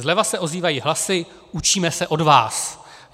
Zleva se ozývají hlasy: Učíme se od vás.